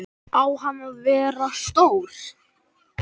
Á hann að vera stór?